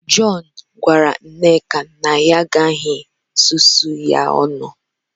John gwara nneka na ya agaghị susuo ya ọnụ